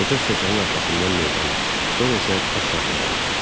Qoca stəkanın arxasından meydana, sonra isə ofisiantlara baxdı.